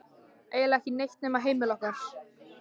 Eiginlega ekki neitt nema heimili okkar.